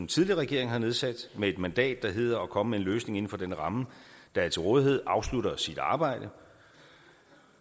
tidligere regering har nedsat med et mandat der hedder at komme med en løsning inden for den ramme der er til rådighed afslutter sit arbejde